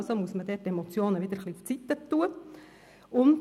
Also muss man dort die Emotionen wieder etwas beiseite schieben.